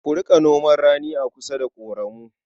Ku riƙa noman rani a kusa da ƙoramu.